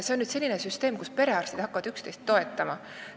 See on selline süsteem, kus perearstid hakkavad üksteist toetama.